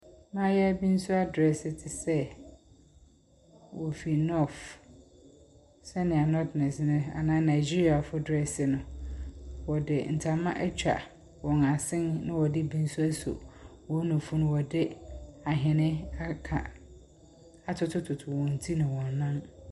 Abaayewa bi nso adresse te sɛ ɔfiri north, sɛ nea Northerners anaa Nigeriafoɔ dresse no. ɔde ntama ɛtwa wɔn asen na wɔde bi nso asɔ wɔn nufo mu na ɔde ahene aka atotototo wɔn ti ne wɔn nan.